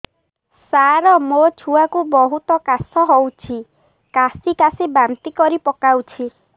ସାର ମୋ ଛୁଆ କୁ ବହୁତ କାଶ ହଉଛି କାସି କାସି ବାନ୍ତି କରି ପକାଉଛି